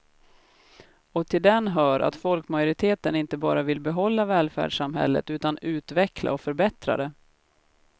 Och till den hör att folkmajoriteten inte bara vill behålla välfärdssamhället utan utveckla och förbättra det.